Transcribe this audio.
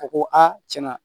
A ko aa tiɲɛna